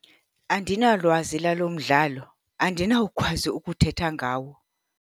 Andinalwazi lalo mdlalo. Andinawukwazi ukuthetha ngawo.